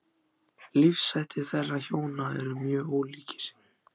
Lífshættir þeirra hjóna eru mjög ólíkir.